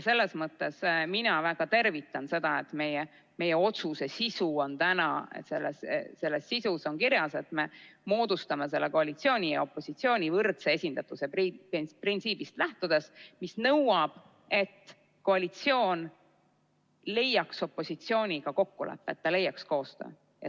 Selles mõttes mina väga tervitan seda, et meie otsuse sisus on praegu kirjas, et me moodustame koalitsiooni ja opositsiooni võrdse esindatuse printsiibist lähtudes, mis nõuab, et koalitsioon jõuaks opositsiooniga kokkuleppe, et ta teeks koostööd.